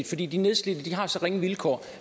fordi de nedslidte har så ringe vilkår og